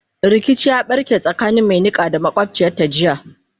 rikici ya ɓarke tsakanin Mai Niƙa da makwabciyarta jiya